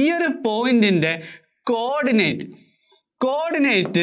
ഈ ഒരു point ന്‍റെ coordinate, coordinate